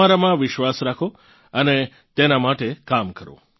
તમારામાં વિશ્વાસ રાખો અને તેના માટે કામ કરો